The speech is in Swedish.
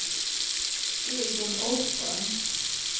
Egon Åström